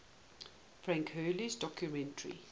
frank hurley's documentary